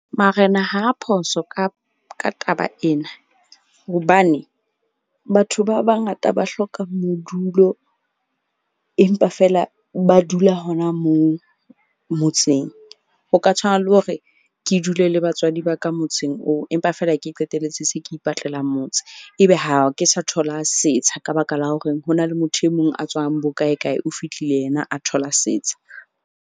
Marena ha phoso ka taba ena hobane batho ba bangata ba hloka modulo, empa feela ba dula hona moo motseng. O ka tshwana le hore ke dule le batswadi ba ka motseng oo, empa fela ke qetelletse se ke ipatlelang motse. Ebe ha ke sa thola setsha, ka baka la horeng ho na le motho e mong a tswang bo kae kae, o fihlile yena, a thola setsha.